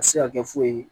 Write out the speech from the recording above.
A bɛ se ka kɛ foyi ye